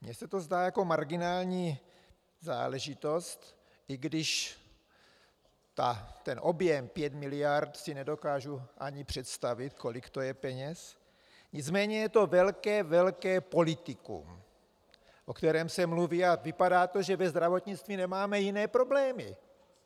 Mně se to zdá jako marginální záležitost, i když ten objem 5 miliard si nedokážu ani představit, kolik to je peněz, nicméně je to velké, velké politikum, o kterém se mluví, a vypadá to, že ve zdravotnictví nemáme jiné problémy.